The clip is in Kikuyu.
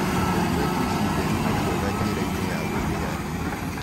Kũnyua jũĩcĩ therũ nĩ kwega njĩra-ĩnĩ ya gũthĩa irio